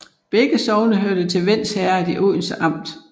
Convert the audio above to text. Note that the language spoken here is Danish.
Begge sogne hørte til Vends Herred i Odense Amt